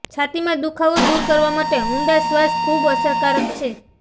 છાતીમાં દુખાવો દૂર કરવા માટે ઊંડા શ્વાસ ખૂબ અસરકારક છે